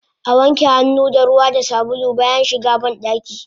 Awanke hannu da ruwa da sabulu bayan shiga bandaki